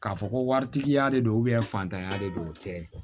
K'a fɔ ko waritigiya de don fantanya de don o tɛ